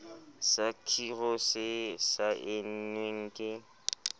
sa khiro se saennweng ke